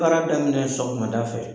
Baara daminɛ sɔgɔmada fɛ